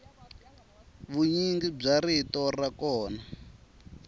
vunyingi bya rito ra kona